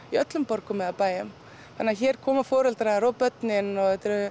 í öllum borgum eða bæjum hér koma foreldrar og börnin og